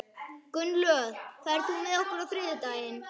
Gunnlöð, ferð þú með okkur á þriðjudaginn?